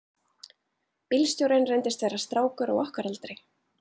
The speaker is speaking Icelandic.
Bílstjórinn reyndist vera strákur á okkar aldri.